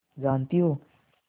जानती हो